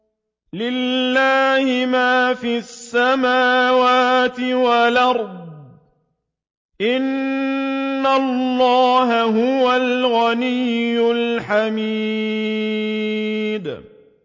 لِلَّهِ مَا فِي السَّمَاوَاتِ وَالْأَرْضِ ۚ إِنَّ اللَّهَ هُوَ الْغَنِيُّ الْحَمِيدُ